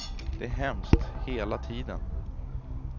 Det är hemskt, hela tiden.